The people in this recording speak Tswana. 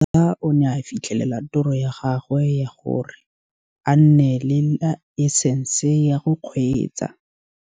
Khoza o ne a fitlhelela toro ya gagwe ya gore a nne le laesense ya go kgweetsa.